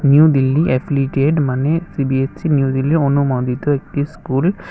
New Delhi affiliated মানে CBSE new Delhi অনুমোদিত একটি স্কুল ।